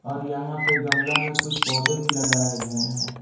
और यहां पे गमला में कुछ पौधे भी लगाए गए हैं।